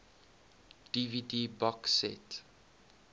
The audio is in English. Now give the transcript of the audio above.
dvd box set